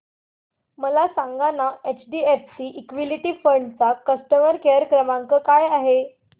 मला सांगाना HDFC equity fund चा कस्टमर केअर क्रमांक काय आहे